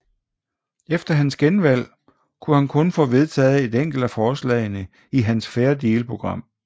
Efter hans genvalg kunne han kun få vedtaget et enkelt af forslagene i hans Fair Deal program